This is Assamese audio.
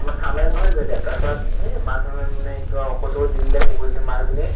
ঠাণ্ডা নহয় জানো এতিয়া তাৰপিছত এৰ মানুহে মানে কিবা ঔষধ চৌষধ দি দিলে কুকুৰজনীক, মাকজনীক